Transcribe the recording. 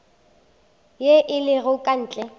ye e lego ka ntle